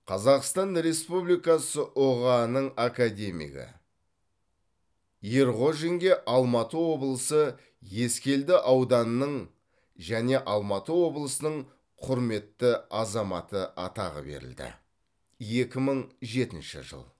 қазақстан республикасы ұға ның академигі ерғожинге алматы облысы ескелді ауданының және алматы облысының құрметті азаматы атағы берілді екі мың жетінші жыл